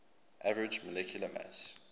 average molecular mass